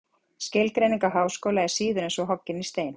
Skilgreining á háskóla er síður en svo hoggin í stein.